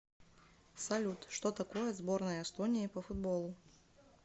салют что такое сборная эстонии по футболу